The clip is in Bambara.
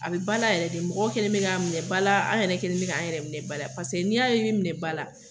A be ba la yɛrɛ de mɔgɔw kɛlen don k'a minɛ ba la an yɛrɛ kɛlen k' an yɛrɛ minɛ ba la paseke n'i ye i be minɛ ba la